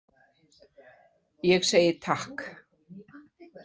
Ég segi takk.